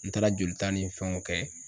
N taara jolita ni fɛnw kɛ